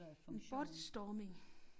En bot storming